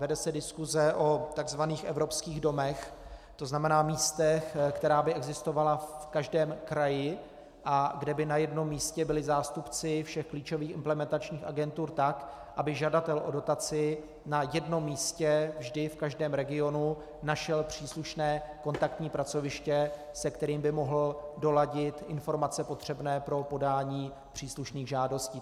Vede se diskuse o tzv. evropských domech, to znamená místech, která by existovala v každém kraji a kde by na jednom místě byli zástupci všech klíčových implementačních agentur, tak aby žadatel o dotaci na jednom místě vždy v každém regionu našel příslušné kontaktní pracoviště, se kterým by mohl doladit informace potřebné pro podání příslušných žádostí.